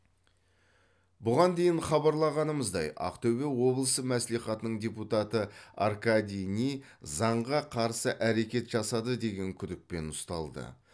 бұған дейін хабарлағанымыздай ақтөбе облысы мәслихатының депутаты аркадий ни заңға қарсы әрекет жасады деген күдікпен ұсталды